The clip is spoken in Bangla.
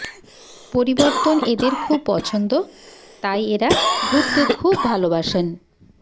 পরিবর্তন এদের খুব পছন্দ তাই এরা ঘুরতে খুব ভালোবাসেন